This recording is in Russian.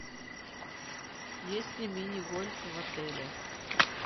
есть ли мини гольф в отеле